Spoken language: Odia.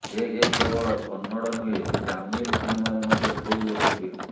ସେ କେବଳ କନ୍ନଡ଼ ନୁହେଁ ତାମିଲ୍ ସିନେମାରେ ମଧ୍ୟ ଖୁବ୍ ଲୋକପ୍ରିୟ